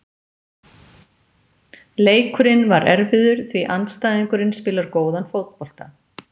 Leikurinn var erfiður því andstæðingurinn spilar góðan fótbolta.